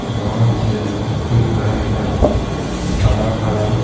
बहुत से लोग दिख रहे हैं हरा-भरा --